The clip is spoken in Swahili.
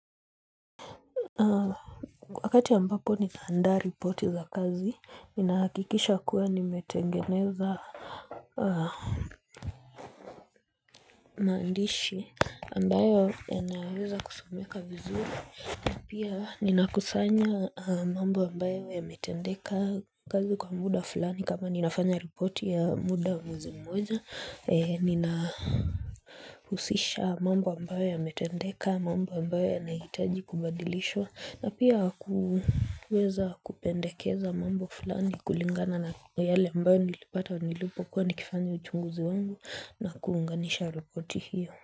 Wakati ambapo nitaandaa ripoti za kazi, ninahakikisha kuwa nimetengeneza maandishi ambayo yanaweza kusomeka vizuri. Pia ninakusanya mambo ambayo yametendeka kazi kwa muda fulani kama ninafanya ripoti ya muda wa mwezi mmoja Nina husisha mambo ambayo yametendeka mambo ambayo yanahitaji kubandilishwa na pia kuweza kupendekeza mambo fulani kulingana na yale ambayo nilipata nilipokua nikifanya uchunguzi wangu na kuunganisha ripoti hiyo.